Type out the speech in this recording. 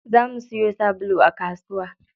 Za mu siyo sabulu a kasuwa.